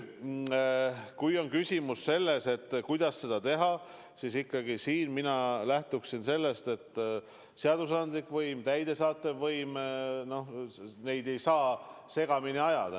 Kui on küsimus, kuidas seda teha, siis siin mina lähtuksin sellest, et seadusandlikku võimu ja täidesaatvat võimu ei tohi segamini ajada.